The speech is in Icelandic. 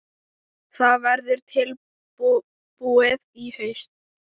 Það verður tilbúið í haust.